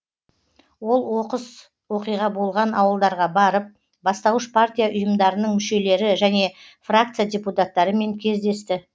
ол оқыс оқиға болған ауылдарға барып бастауыш партия ұйымдарының мүшелері және фракция депутаттарымен кездесті